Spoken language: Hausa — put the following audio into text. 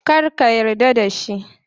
Kar ka yarda da shi.